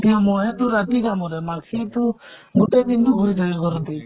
সেইটো মহে টো ৰাতি কামুৰে, মাখি টো গোতেই দিন টো ঘুৰি থাকে ঘৰতে